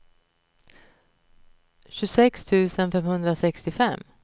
tjugosex tusen femhundrasextiofem